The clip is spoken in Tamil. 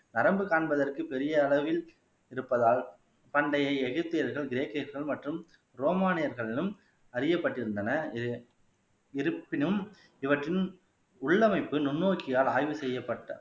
நரம்பு காண்பதற்கு பெரிய அளவில் இருப்பதால் பண்டையை எகிப்தியர்கள் கிரேக்கர்கள் மற்றும் ரோமானியர்களிலும் அறியப்பட்டிருந்தன இது இருப்பினும் இவற்றின் உள்ளமைப்பு நுண்ணோக்கியால் ஆய்வுசெய்யப்பட்ட